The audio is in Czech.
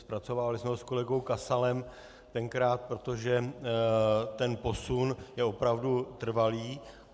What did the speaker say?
Zpracovávali jsme ho s kolegou Kasalem tenkrát, protože ten posun je opravdu trvalý.